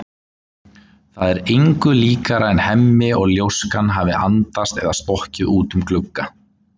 Það er engu líkara en Hemmi og ljóskan hafi andast eða stokkið út um glugga.